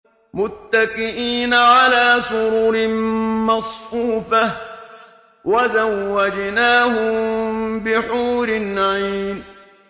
مُتَّكِئِينَ عَلَىٰ سُرُرٍ مَّصْفُوفَةٍ ۖ وَزَوَّجْنَاهُم بِحُورٍ عِينٍ